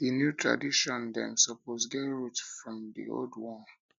di new tradition dem suppose get root from di old one